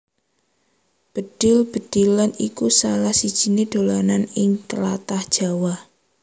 Bedhil bedhilan iku salah sijiné dolanan ing tlatah Jawa